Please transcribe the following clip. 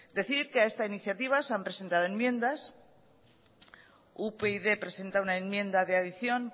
decir que a esta iniciativa se han presentado enmiendas upyd presenta una enmienda de adición